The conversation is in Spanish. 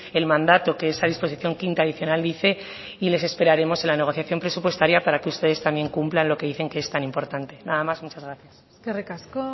el mandato que esa disposición quinta adicional dice y les esperaremos en la negociación presupuestaria para que ustedes también cumplan lo que dicen que es tan importante nada más muchas gracias eskerrik asko